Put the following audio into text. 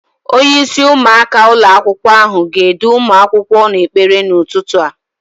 Onyeisi ụmụaka ụlọakwụkwọ ahụ ga-edu ụmụ akwụkwọ n'ekpere n'ụtụtụ a.